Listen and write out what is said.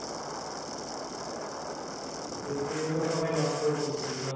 এটাই তো সবাই নষ্ট করে দিয়েছে।